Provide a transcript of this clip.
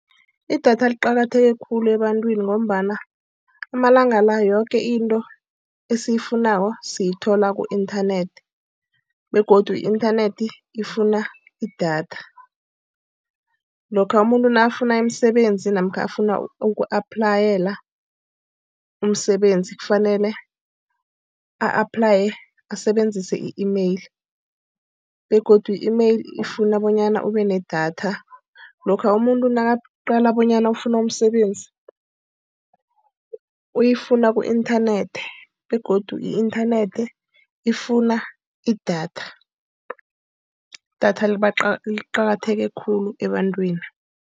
Idatha liqakatheke khulu ebantwini ngombana amalanga la yoke into esiyifunako siyithola ku-inthanethi. Begodu i-inthanethi ifuna idatha. Lokha umuntu nakafuna umsebenzi namkha ofuna uku-aplayela umsebenzi kufanele a-aplaye asebenzise i-email. Begodu i-email ifuna bonyana ube nedatha. Lokha umuntu nakaqalene bonyana ufuna umsebenzi, uyifuna ku-inthanethi. Begodu i-inthanethi ifuna idatha. Idatha liqakatheke khulu ebantwini.